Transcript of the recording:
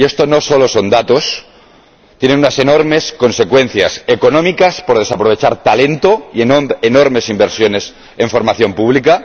Y esto no solo son datos, tiene unas enormes consecuencias económicas, por desaprovechar talento y enormes inversiones en formación pública